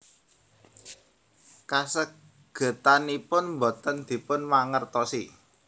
Kasagedanipun boten dipun mangertosi